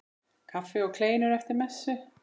Kaffi og kleinur eftir messu.